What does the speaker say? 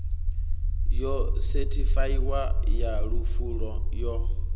yo sethifaiwaho ya lufu yo